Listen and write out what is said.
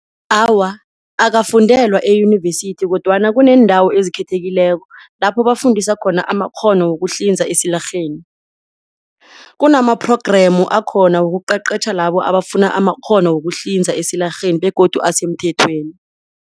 Awa, akafundelwa eyunivesithi kodwana kuneendawo ezikhethekileko lapho bafundisa khona amakghono wokuhlinza esilarheni. Kunama-program akhona wokuqeqesha labo abafuna amakghono wokuhlinza esilarheni begodu asemthethweni.